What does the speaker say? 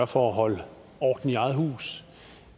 for at holde orden i eget hus